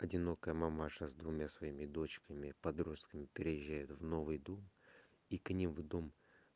одинокая мамаша с двумя своими дочками подростками переезжают в новый дом и к ним в дом